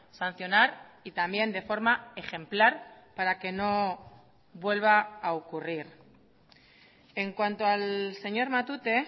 sancionar y también de forma ejemplar para que no vuelva a ocurrir en cuanto al señor matute